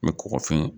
N bɛ kɔkɔ fɛn